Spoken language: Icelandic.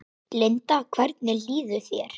Linda: Hvernig líður þér?